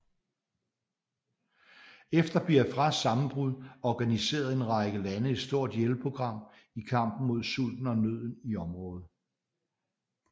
Efter Biafras sammenbrud organiserede en række lande ett stort hjælpeprogram i kampen mod sulten og nøden i området